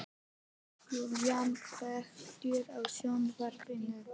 Júlína, kveiktu á sjónvarpinu.